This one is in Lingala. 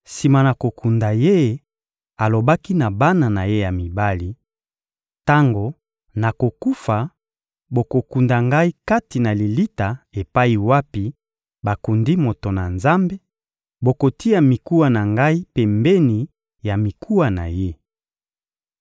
Sima na kokunda ye, alobaki na bana na ye ya mibali: — Tango nakokufa, bokokunda ngai kati na lilita epai wapi bakundi moto na Nzambe; bokotia mikuwa na ngai pembeni ya mikuwa na ye.